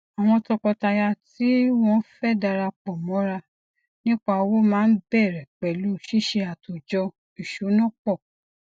àwọn tọkọtaya tí wọn fé darapọ mọra nípa owó máa ń bẹrẹ pẹlú ṣíṣe àtòjọ ìsúná pọ